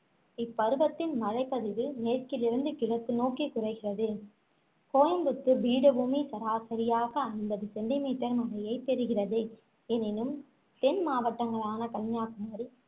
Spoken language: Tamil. இப்பருவத்தின் மழைப் பதிவு மேற்கிலிருந்து கிழக்கு நோக்கி குறைகிறது கோயம்புத்தூர் பீடபூமி சராசரியாக ஐம்பது centimeter மழையைப் பெறுகிறது எனினும் தென்மாவட்டங்களான கன்னியாகுமரி